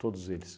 Todos eles.